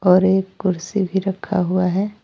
और एक कुर्सी भी रखा हुआ है।